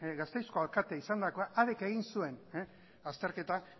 gasteizko alkate izandakoa hark egin zuen azterketa